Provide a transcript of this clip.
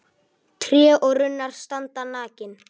Tré og runnar standa nakin.